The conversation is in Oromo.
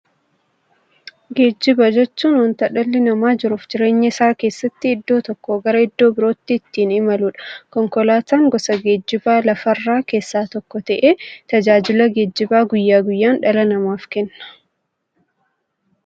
Geejjiba jechuun wanta dhalli namaa jiruuf jireenya isaa keessatti iddoo tokkoo gara iddoo birootti ittiin imaluudha. Konkolaatan gosa geejjibaa lafarraa keessaa tokko ta'ee, tajaajila geejjibaa guyyaa guyyaan dhala namaaf kenna.